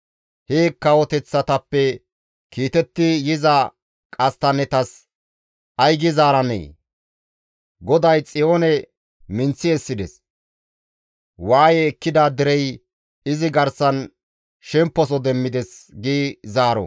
He kawoteththatappe kiitetti yiza qasttannetas ay gi zaaranee? ‹GODAY Xiyoone minththi essides; waaye ekkida derey izi garsan shemposo demmides› gi zaaro.»